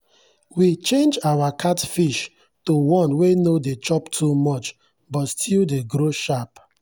we change our catfish to one wey no dey chop too much but still dey grow sharp.